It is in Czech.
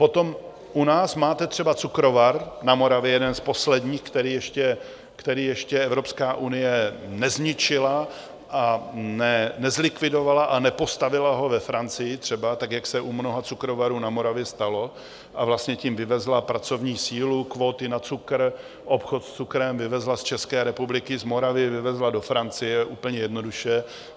Potom u nás máte třeba cukrovar na Moravě, jeden z posledních, který ještě Evropská unie nezničila a nezlikvidovala a nepostavila ho ve Francii třeba, tak jak se u mnoha cukrovarů na Moravě stalo, a vlastně tím vyvezla pracovní sílu, kvóty na cukr, obchod s cukrem vyvezla z České republiky, z Moravy vyvezla do Francie úplně jednoduše.